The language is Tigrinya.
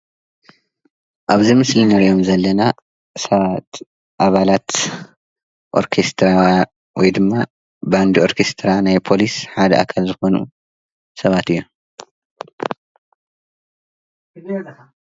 ኣብዚ ምስሊ እንርእዮም ዘለና ሰባት ኣባላት ኦርኬስትራ ወይድማ ባንዲ ኦርኬስትራ ናይ ፖሊስ ሓደ ኣካል ዝኾኑ ሰባት እዮም።